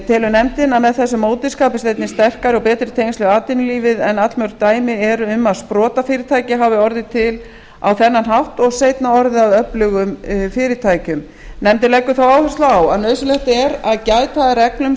telur nefndin að með þessu móti skapist einnig sterkari og betri tengsl við atvinnulífið en allmörg dæmi eru um að sprotafyrirtæki hafi orðið til á þennan hátt sem seinna hafi orðið að öflugum fyrirtækjum nefndin leggur þó áherslu á að nauðsynlegt sé að gæta að reglum